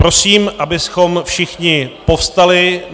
Prosím, abychom všichni povstali.